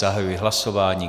Zahajuji hlasování.